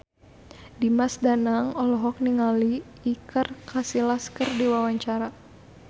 Dimas Danang olohok ningali Iker Casillas keur diwawancara